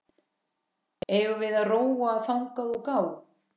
Eigum við að róa þangað og gá?